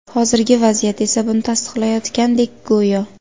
Hozirgi vaziyat esa buni tasdiqlayotgandek go‘yo.